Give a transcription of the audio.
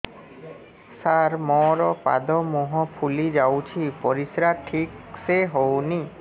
ସାର ମୋରୋ ପାଦ ମୁହଁ ଫୁଲିଯାଉଛି ପରିଶ୍ରା ଠିକ ସେ ହଉନି